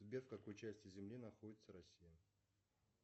сбер в какой части земли находится россия